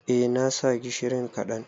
Eh na sa gishiri kaɗan.